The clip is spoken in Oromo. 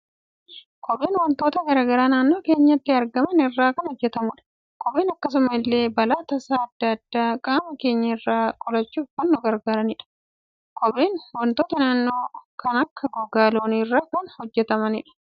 Kopheen waantota garaagaraa naannoo keenyatti argaman irraa kan hojjetamudha. Kopheen akkasuma illee balaa tasaa addaa addaa qaama keenya irraa qolachuuf kan nu gargaaranidha. Kopheen waantota naannoo kan akka gogaa loonii irraa hojjetama.